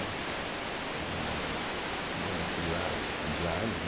Né, é você ganha aquilo lá diária, né.